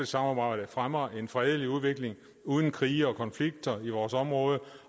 samarbejde fremmer en fredelig udvikling uden krige og konflikter i vores område